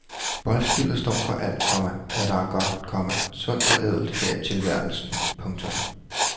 Boldspillet står for alt, komma hvad der er godt, komma sundt og ædelt her i tilværelsen. punktum